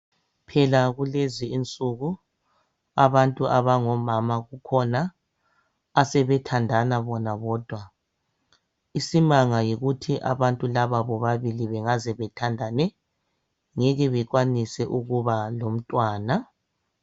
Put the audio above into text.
phela kulezinsuku abantu abango mama sebethandana bona bodwa isimanga yikuthi laba bobabili bengaze bethandane ngeke bakwanise ukuba lomntwana.